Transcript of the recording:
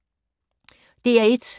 DR1